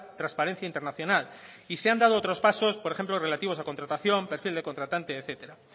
transparencia internacional y se han dado otros pasos por ejemplo relativos a contratación perfil de contratante etcétera